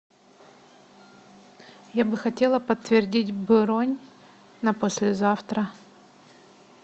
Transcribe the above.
я бы хотела подтвердить бронь на послезавтра